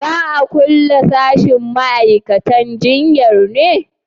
za a kulle sashin ma'aikatan jinya ne?